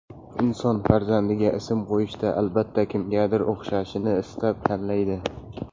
Inson farzandiga ism qo‘yishda, albatta, kimgadir o‘xshashini istab, tanlaydi.